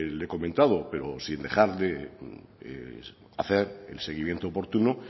le he comentado pero sin dejar de hacer el seguimiento oportuno